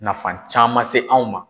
Nafa caman se anw ma.